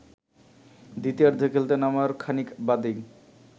দ্বিতীয়ার্ধে খেলতে নামার খানিক বাদেই